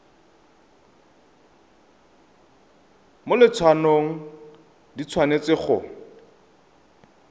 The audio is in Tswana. mo letshwaong di tshwanetse go